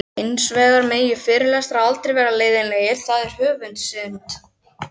Hins vegar megi fyrirlesarar aldrei vera leiðinlegir, það sé höfuðsynd.